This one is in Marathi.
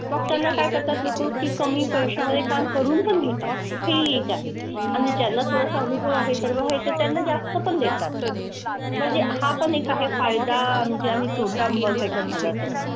मग त्यांना काय करतात लोकं की कमी पैशामध्ये काम करून पण घेतात. हेही एक आहे. आणि ज्यांना थोडासा अनुभव आहे त्यांना जास्त पण देतात. म्हणजे हा पण एक आहे फायदा म्हणजे आणि तोटा बघायचा झाला तर.